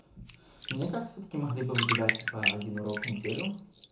мне кажется всё-таки могли бы выделить типа один урок в неделю